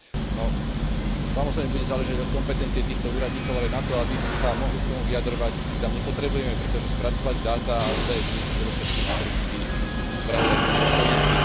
No samozrejme bude záležať od kompetencie týchto úradníkov, ale na to, aby sa mohli k tomu vyjadrovať, ich tam nepotrebujeme, pretože spracúvať dáta a údaje budú predovšetkým americkí spravodajskí dôstojníci.